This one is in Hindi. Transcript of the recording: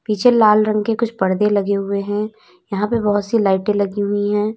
पीछे लाल रंग के कुछ परदे लगे हुए हैं यहां पे बहोत सी लाइटें लगी हुई हैं।